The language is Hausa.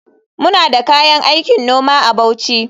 Muna da kayan aikin noma a Bauchi.